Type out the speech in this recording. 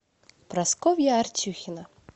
прасковья артюхина